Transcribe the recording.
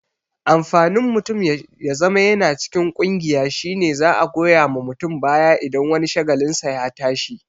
Amfanin mutum ya zama yana cikin ƙungiya shine za'a goya wa mutum baya idan wani shagalinsa ya tashi